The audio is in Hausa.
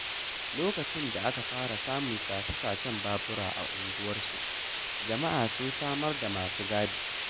Lokacin da aka fara samun sace-sacen babura a unguwarsu, jama’a sun samar da masu gadi.